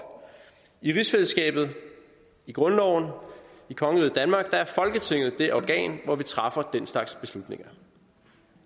i rigsfællesskabet i grundloven i kongeriget danmark er folketinget det organ hvor vi træffer den slags beslutninger